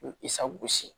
Isa gosi